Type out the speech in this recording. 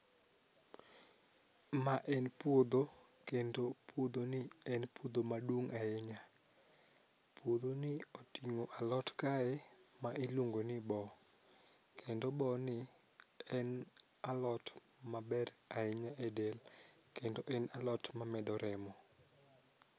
Ma en puodho kendo puodhoni en puodho maduong' ahinya. Puodhoni oting'o alot kae ma iluongo ni bo kendo boni en alot maber ahinya e del kendo en alot mamedo remo.